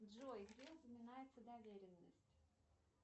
джой где упоминается доверенность